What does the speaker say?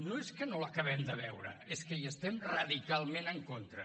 no és que no l’acabem de veure és que hi estem radicalment en contra